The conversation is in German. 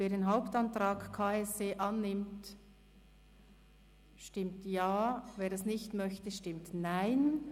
Wer den Hauptantrag KSE Bern annimmt, stimmt Ja, wer das nicht möchte, stimmt Nein.